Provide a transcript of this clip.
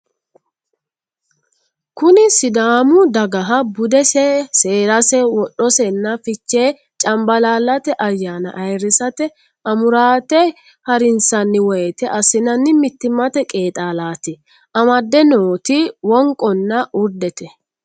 Kuni sidaamu dagaha budese seerase wodhosenna fichee cambalaallate ayyaana ayiirrisate amuraate harinsanni woyte assinanni mittimate qeexaalaati amadde nooti wonqonna urdete.